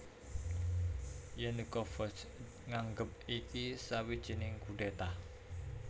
Yanukovych nganggep iki sawijining kudéta